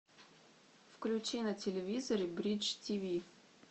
включи на телевизоре бридж тв